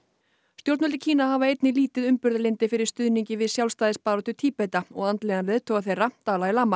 stjórnvöld í Kína hafa einnig lítið umburðarlyndi fyrir stuðningi við sjálfstæðisbaráttu Tíbeta og andlegan leiðtoga þeirra Dalai Lama